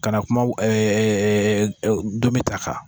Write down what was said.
Ka na kuma ɛ ɛ ndomi ta kan